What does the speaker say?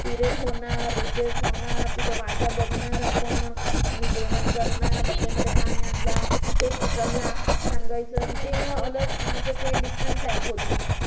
Period होणार, recess होणार. त्याची वाटा बघणार आपण आणि जेवण करणार डब्बेमध्ये काय आणलं, ते एक दुसऱ्यांना सांगायचं. अन ते अलग म्हणजे ते एक different life होती.